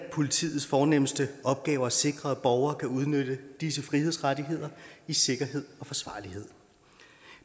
af politiets fornemste opgaver at sikre at borgere kan udnytte disse frihedsrettigheder i sikkerhed og forsvarlighed